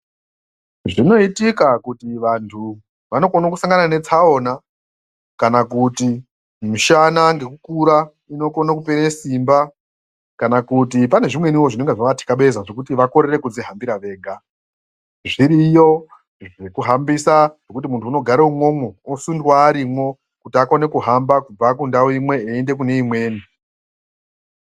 Zvinoitika kuti vandu vanokona kusangana netsaona kana kuti mishana ngekukura inokona kupera simba kana kuti pane zvimweniwo zvinenge zvavathakabeza zvokuti vakorere kudzihambira vega zviriyo zvekuhambisa zvekuti mundhu agare imwomo osundwa arimwo kuti akone kuhamba kubva kundau imwe kuti aende kune imweni.